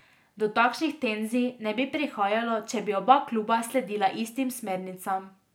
Do takšnih tenzij ne bi prihajalo, če bi oba kluba sledila istim smernicam.